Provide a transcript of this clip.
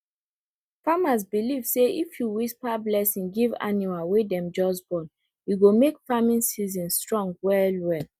farmers believe say if you whisper blessing give animal wey dem just born e go make farming season strong well well